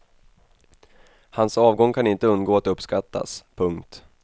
Hans avgång kan inte undgå att uppskattas. punkt